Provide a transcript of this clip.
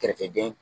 Kɛrɛfɛden